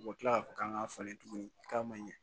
U bɛ tila k'a fɔ k'an k'a falen tuguni k'a ma ɲɛ